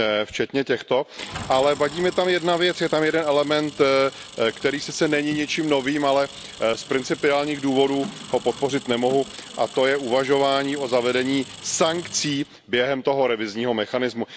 včetně těchto, ale vadí mi tam jedna věc, je tam jeden element, který sice není ničím novým, ale z principiálních důvodů ho podpořit nemohu, a to je uvažování o zavedení sankcí během toho revizního mechanismu.